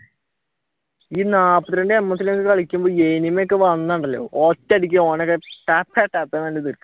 ഈ നാൽപത്തി രണ്ടു ms കളിക്കുമ്പോൾ enemy ഒക്കെ വന്നാൽ ഉണ്ടല്ലോ ഒറ്റയടിക്ക് ഓനെ ടക്ക് ടക്ക് എന്ന് തീർക്കാം.